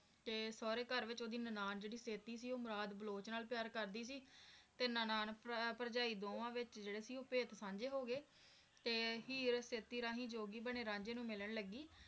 ਤੇ ਸੋਹਰੇ ਘਰ ਵੀ ਓਹਦੀ ਨਨਾਣ ਜਿਹੜੀ ਸੇਤੀ ਸੀ ਉਹ ਮੁਰਾਦ ਬਲੋਚ ਨਾਲ ਪਿਆਰ ਕਰਦੀ ਸੀ ਤੇ ਨਨਾਣ ਭਰਜਾਈ ਦੋਵਾਂ ਵਿਚ ਜਿਹੜੀ ਸੀ ਉਹ ਰਾਜ ਸਾਂਝੇ ਹੋ ਗਏ ਤੇ ਹੀਰ ਸੇਤੀ ਰਾਹੀਂ ਜੋਗੀ ਬਣੇ ਰਾਂਝੇ ਨੂੰ ਮਿਲਣ ਲੱਗ ਗਈ